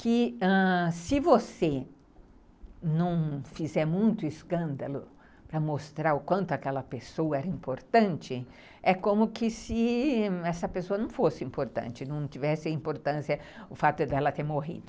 que ãh se você não fizer muito escândalo para mostrar o quanto aquela pessoa era importante, é como que se essa pessoa não fosse importante, não tivesse importância o fato dela ter morrido.